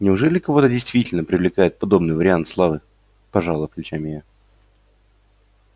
неужели кого-то действительно привлекает подобный вариант славы пожала плечами я